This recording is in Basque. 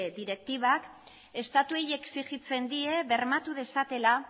direktibak estatuei exigitzen die bermatu dezatela